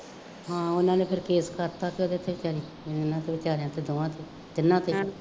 ਹਾਂ ਉਹਨਾ ਨੇ ਫੇਰ ਕੇਸ ਕਰਤਾ ਉਹਨਾ ਤੇ ਬੇਚਾਰਿਆਂ ਤੇ ਦੋਵਾਂ ਤੇ